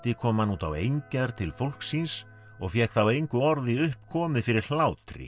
kom hann út á engjar til fólks síns og fékk þá engu orði upp komið fyrir hlátri